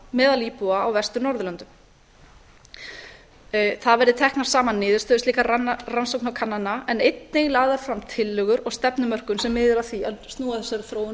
meðal íbúa á vestur norðurlöndum það verði teknar saman niðurstöður slíkra rannsókna og kannana en einnig lagðar fram tillögur og stefnumörkun sem miðar að því að snúa þessari þróun